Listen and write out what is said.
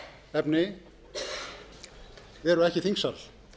efni eru ekki í þingsal